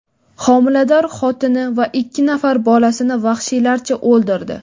homilador xotini va ikki nafar bolasini vahshiylarcha o‘ldirdi.